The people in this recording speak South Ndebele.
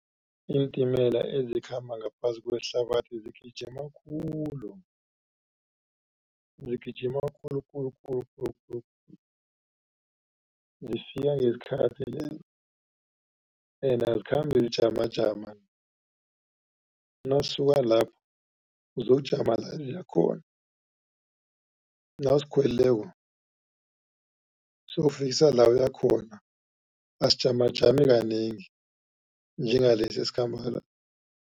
Iintimela ezikhamba ngaphasi kwehlabathi zigijima khulu, zigijima khulu, khulu, khulu, khulu, khulu. Zifika ngesikhathi ende azikhambi zijamajama, nasisuka lapho uzokujama la ziyakhona. Nawusikhwelileko siyokufikisa la uyakhona, asijamajami kanengi, njengalesi esikhamba la.